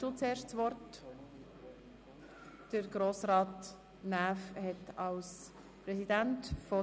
Das ist der Fall, somithat nun Grossrat Näf als Präsident der BiK das Wort.